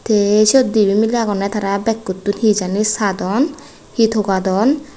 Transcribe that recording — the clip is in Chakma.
te siyot dibay milay agonne tara bagkkutun he jani sadon he togadon.